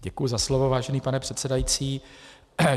Děkuji za slovo, vážený pane předsedající.